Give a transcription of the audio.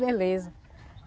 Beleza.